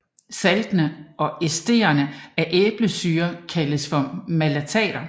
Saltene og estrene af æblesyre kaldes malater